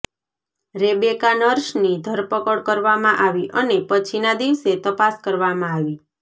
Rebecca નર્સની ધરપકડ કરવામાં આવી અને પછીના દિવસે તપાસ કરવામાં આવી